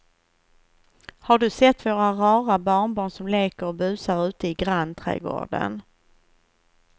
Har du sett våra rara barnbarn som leker och busar ute i grannträdgården!